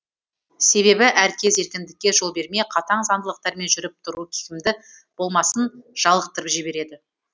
себебі әркез еркіндікке жол бермей қатаң заңдылықтармен жүріп тұру кімді болмасын жалықтырып жібереді